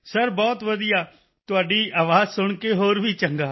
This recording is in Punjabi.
ਸਰ ਬਹੁਤ ਵਧੀਆ ਤੁਹਾਡੀ ਆਵਾਜ਼ ਸੁਣ ਕੇ ਹੋਰ ਵੀ ਚੰਗਾ